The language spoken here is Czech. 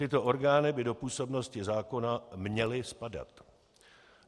Tyto orgány by do působnosti zákona měly spadat.